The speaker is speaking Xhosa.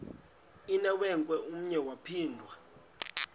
inewenkwe umnwe yaphinda